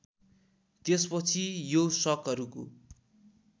त्यसपछि यो शकहरूको